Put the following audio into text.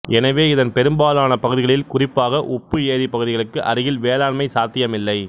எனவே இதன் பெரும்பாலான பகுதிகளில் குறிப்பாக உப்பு ஏரி பகுதிகளுக்கு அருகில் வேளாண்மை சாத்தியமில்லை